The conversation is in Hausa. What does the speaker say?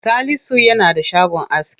Salisu yana da shagon aski.